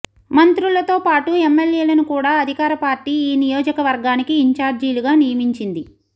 మంత్రులతోపాటు ఎమ్మెల్యేలను కూడ అధికారపార్టీ ఈ నియోజకవర్గానికి ఇంచార్జీలుగా నియమించింది